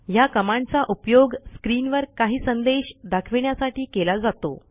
ह्या कमांडचा उपयोग स्क्रीनवर काही संदेश दाखविण्यासाठी केला जातो